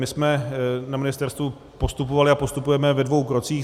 My jsme na ministerstvu postupovali a postupujeme ve dvou krocích.